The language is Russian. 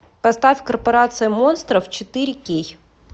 поставь корпорация монстров четыре кей